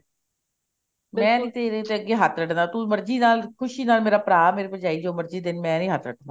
ਮੈਂ ਤੇਰੇ ਅੱਗੇ ਹੱਥ ਅੱਡ ਦਾ ਤੂੰ ਮਰਜ਼ੀ ਨਾਲ ਖੁਸ਼ੀ ਨਾਲ ਮੇਰਾ ਭਰਾ ਜੋ ਮਰਜ਼ੀ ਦੇਣ ਮੈਂ ਹੱਥ ਅੱਡਣਾ